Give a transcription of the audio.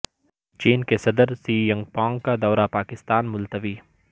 چین کے صدر Xi Jinping کا دورہ پاکستان ملتوی